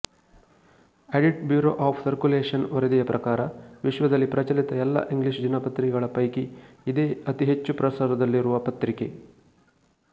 audit bureau of circulation ವರದಿಯ ಪ್ರಕಾರವಿಶ್ವದಲ್ಲಿ ಪ್ರಚಲಿತ ಎಲ್ಲಾ ಇಂಗ್ಲೀಷ್ ದಿನಪತ್ರಿಕೆಗಳ ಪೈಕಿ ಇದೇ ಅತಿಹೆಚ್ಚು ಪ್ರಸಾರದಲ್ಲಿರುವ ಪತ್ರಿಕೆ